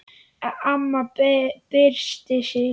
Amma byrsti sig.